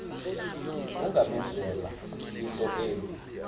ungamenzela into embi